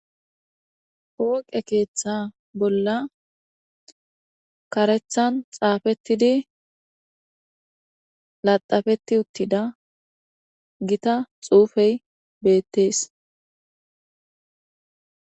Pooqe keeththa bolla kareththan xaafeththidi laxxafeththi uththida githa xuufee beeththees.